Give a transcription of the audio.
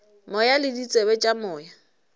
moya le ditsebe tša moya